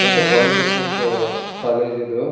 ಅಂತ polytechnic college ಇದು.